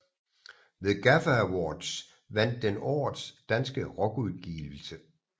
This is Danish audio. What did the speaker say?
Ved Gaffa Awards vandt den Årets danske rockudgivelse